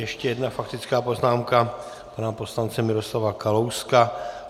Ještě jedna faktická poznámka pana poslance Miroslava Kalouska.